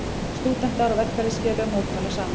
Stúdentar og verkalýðsfélög mótmæla saman